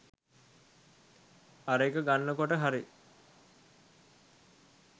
අර එක ගන්න කොට හරි